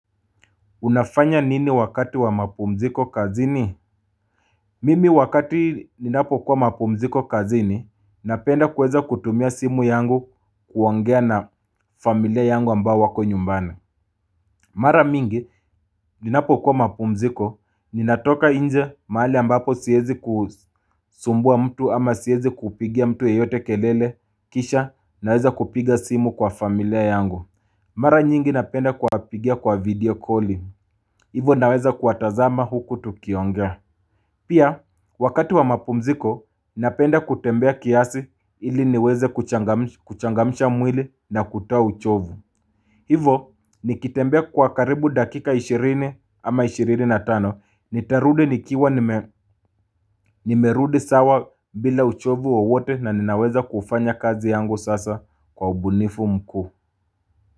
Unafanya nini wakati wa mapumziko kazini? Mimi wakati ninapokua mapumziko kazini, napenda kuweza kutumia simu yangu kuongea na familia yangu ambao wako nyumbani. Mara mingi, ninapokuwa mapumziko, ninatoka inje mahali ambapo siezi kusumbua mtu ama siezi kupigia mtu yeyote kelele kisha naweza kupiga simu kwa familia yangu. Mara nyingi napenda kuwapigia kwa video calling. Hivo naweza kuwatazama huku tukiongea. Pia, wakati wa mapumziko, napenda kutembea kiasi ili niweze kuchangam kuchangamsha mwili na kutoa uchovu. Hivo, nikitembea kwa karibu dakika 20 ama 25. Nitarudi nikiwa nime nimerudi sawa bila uchovu wowote na ninaweza kufanya kazi yangu sasa kwa ubunifu mkuu.